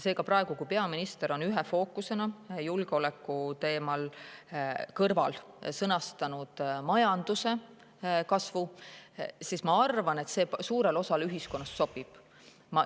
Seega, kuna peaminister on praegu ühe fookusena julgeoleku teema kõrval sõnastanud majanduse kasvu, siis ma arvan, et see suurele osale ühiskonnast sobib.